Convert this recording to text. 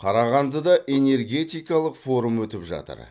қарағандыда энергетикалық форум өтіп жатыр